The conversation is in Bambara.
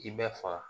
K'i bɛɛ faga